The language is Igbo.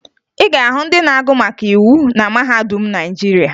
Ị ga-ahụ ndị na-agụ maka iwu na mahadum Naịjirịa